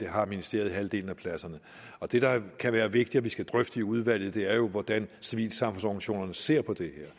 har ministeriet halvdelen af pladserne det der kan være vigtigt vi skal drøfte i udvalget er jo hvordan civilsamfundsorganisationerne ser på det